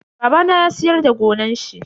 Babana ya siyar da gonan shi.